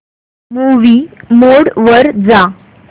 movie mode वर जा